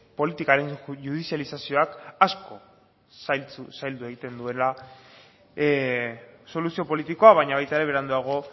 politikaren judizializazioak asko zaildu egiten duela soluzio politikoa baina baita ere beranduago